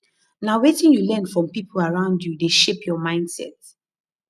na wetin you learn from people around you dey shape your mindset